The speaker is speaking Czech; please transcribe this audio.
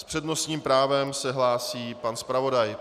S přednostním právem se hlásí pan zpravodaj.